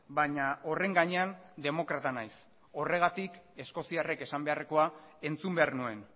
baina horren gainean demokrata naiz horregatik eskoziarrek esan beharrekoa entzun behar nuen